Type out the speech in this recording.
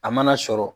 A mana sɔrɔ